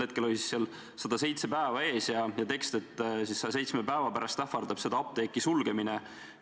Hetkel oli seal kirjas "107 päeva" ja tekst: "107 päeva pärast ähvardab seda apteeki sulgemine.